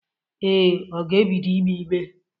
Ee, ọ ga-ebido ìgbé ígbé?